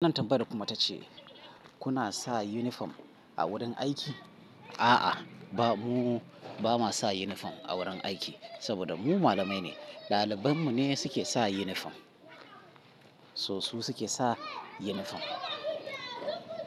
Wannan tambayar kuma ta ce, kuna sa yunifom a wurin aiki? A'a, ba mu, ba ma sa yunifom a wurin aiki, saboda mu malamai ne. Ɗaliban mu ne suke sa yunifom. So su suke sa yunifom.